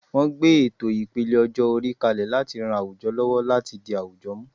Wọ́n gbé ètò ìpele ọjọ́-orí kalẹ̀ láti ran àwùjọ lọ́wọ́ láti di àwùjọ mú.